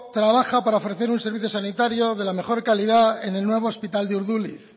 trabaja para ofrecer un servicio sanitario de la mejor calidad en el nuevo hospital de urduliz